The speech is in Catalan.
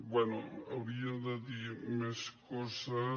bé hauria de dir més coses